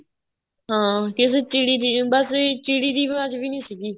ਹਾਂ ਕਿਸੇ ਚਿੜੀ ਦੀ ਬੱਸ ਚਿੜੀ ਦੀ ਆਵਾਜ ਵੀ ਨਹੀਂ ਸੀਗੀ